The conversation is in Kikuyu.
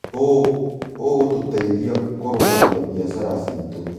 ũũ ũgũtũteithia kũrũgamia biashara ciitũ.